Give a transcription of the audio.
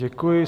Děkuji.